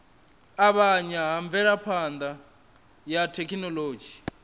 avhanya ha mvelaphana ya thekhinolodzhi